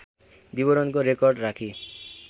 विवरणको रेकर्ड राखी